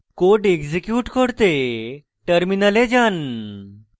code execute করতে terminal যান